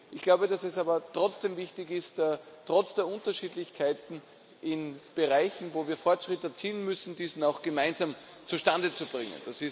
Ich glaube, dass es aber trotzdem wichtig ist, trotz der Unterschiedlichkeiten in Bereichen, wo wir Fortschritt erzielen müssen, diesen auch gemeinsam zustande zu bringen.